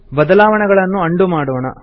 ಬದಲಾವಣೆಗಳನ್ನು ಅಂಡು ಮಾಡೋಣ